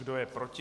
Kdo je proti?